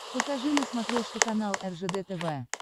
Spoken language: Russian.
покажи на смотрешке канал ржд тв